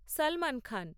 Salman Khan